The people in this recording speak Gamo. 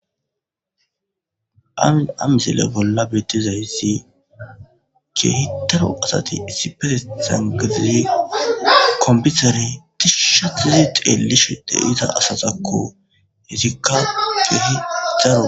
Hamissile bola betizayis kehi daro asati issipezan gidizi konpetere tishatidi xelishe deiza asatakko izika kehi daro.